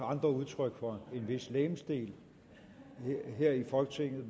andre udtryk for en vis legemsdel her i folketinget